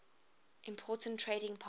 important trading partner